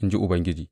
in ji Ubangiji.